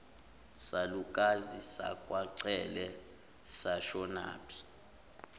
salukazi sakwacele sashonaphi